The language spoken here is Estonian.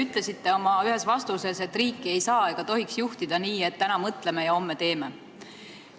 Te ütlesite ühes oma vastuses, et riiki ei saa ega tohi juhtida nii, et täna mõtleme ja homme teeme.